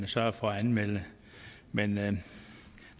sørge for at anmelde det men